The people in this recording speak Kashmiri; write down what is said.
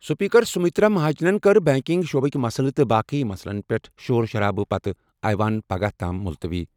سپیکر سُمِترا مہاجنَن کٔر بینکنگ شعبٕک مسلہٕ تہٕ باقٕے مسلَن پٮ۪ٹھ شور شرابہٕ پتہٕ ایوان پگہہ تام مُلتوی ۔